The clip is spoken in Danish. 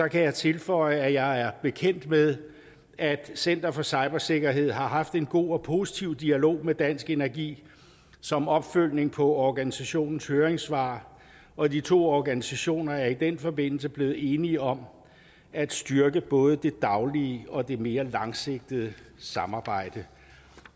kan jeg tilføje at jeg er bekendt med at center for cybersikkerhed har haft en god og positiv dialog med dansk energi som opfølgning på organisationens høringssvar og de to organisationer er i den forbindelse blevet enige om at styrke både det daglige og det mere langsigtede samarbejde